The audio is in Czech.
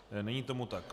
Není tomu tak.